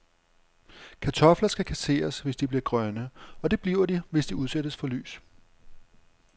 Kartofler skal kasseres, hvis de bliver grønne, og det bliver de, hvis de udsættes for lys.